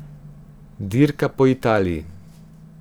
Dirka po Italiji.